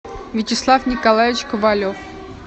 вячеслав николаевич ковалев